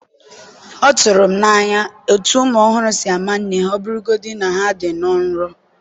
ọ tụrụ m n’anya otú ụmụ ọhụrụ si ama nne ha, ọ bụrụgodị na ha dị nnọọ nro.